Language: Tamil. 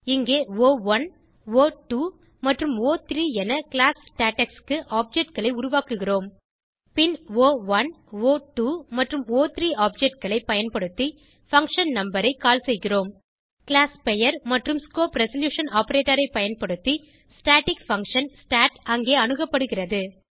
இங்கே ஒ1 ஒ2 மற்றும் ஒ3 என கிளாஸ் ஸ்டேடெக்ஸ் க்கு objectகளை உருவாக்குகிறோம் பின் ஒ1 ஒ2 மற்றும் ஒ3 objectகளை பயன்படுத்தி பங்ஷன் நம்பர் ஐ கால் செய்கிறோம் கிளாஸ் பெயர் மற்றும் ஸ்கோப் ரெசல்யூஷன் ஆப்பரேட்டர் ஐ பயன்படுத்தி ஸ்டாட்டிக் பங்ஷன் ஸ்டாட் அங்கே அணுகப்படுகிறது